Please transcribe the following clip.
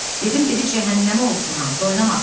Dedim, dedi cəhənnəmə olsun hamısı, oynamasın.